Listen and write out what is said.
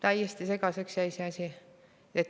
Täiesti segaseks jäi see asi.